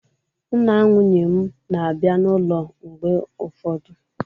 Nna nwunye m na-abịa n'ụlọ mgbe ụfọdụ